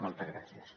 moltes gràcies